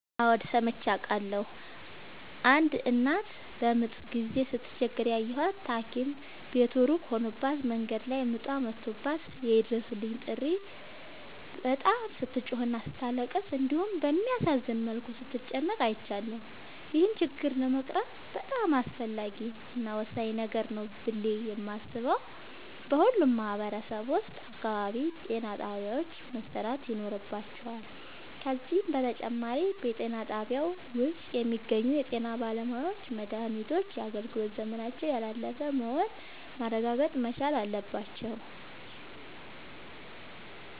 አዎድ ሠምቼ አውቃለሁ። አንድ እናት በምጥ ጊዜ ስትቸገር ያየሁት ታኪም ቤቱ እሩቅ ሆኖባት መንገድ ላይ ምጧ መቶባት የይድረሡልኝ ጥሪ በጣም ስትጮህና ስታለቅስ እንዲሁም በሚያሳዝን መልኩ ስትጨነቅ አይቻለሁ። ይህን ችግር ለመቅረፍ በጣም አስፈላጊ እና ወሳኝ ነገር ነው ብሌ የማሥበው በሁሉም ማህበረሠብ አካባቢ ጤናጣቢያዎች መሠራት ይኖርባቸዋል። ከዚህም በተጨማሪ በጤናጣቢያው ውስጥ የሚገኙ የጤናባለሙያዎች መድሃኒቶች የአገልግሎት ዘመናቸው ያላለፈ መሆኑን ማረጋገጥ መቻል አለባቸው።